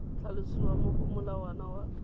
tlhalosiwa mo go molawana wa